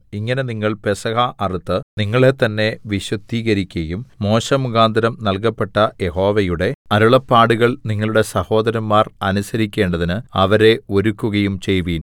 ഇങ്ങനെ നിങ്ങൾ പെസഹ അറുത്ത് നിങ്ങളെത്തന്നെ വിശുദ്ധീകരിക്കയും മോശെമുഖാന്തരം നൽകപ്പെട്ട യഹോവയുടെ അരുളപ്പാടുകൾ നിങ്ങളുടെ സഹോദരന്മാർ അനുസരിക്കേണ്ടതിന് അവരെ ഒരുക്കുകയും ചെയ്‌വീൻ